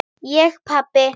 Ég pabbi!